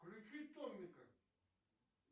включи томика